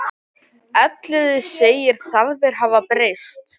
Elliði segir þarfir hafa breyst.